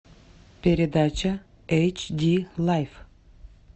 передача эйч ди лайф